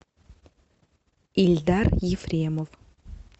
ильдар ефремов